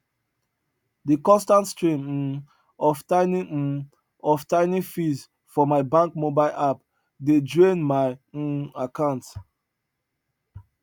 de constant stream um of tiny um of tiny fees for my bank mobile app dey drain my um account